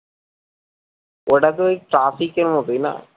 ওটা তো ওই traffic এর মতোই না